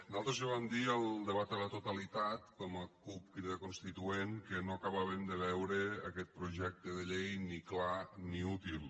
nosaltres ja vam dir al debat a la totalitat com a cup crida constituent que no acabàvem de veure aquest projecte de llei ni clar ni útil